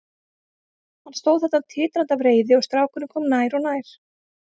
Hann stóð þarna titrandi af reiði og strákurinn kom nær og nær.